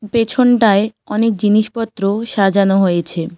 পেছনটায় অনেক জিনিসপত্র সাজানো হয়েছে।